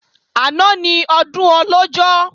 Àná ni Ọdún Ọlọ́jọ́